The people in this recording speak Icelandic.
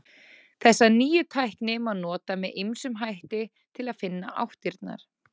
Þessa nýju tækni má nota með ýmsum hætti til að finna áttirnar.